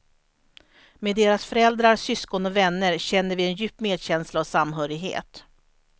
Med deras föräldrar, syskon och vänner känner vi en djup medkänsla och samhörighet.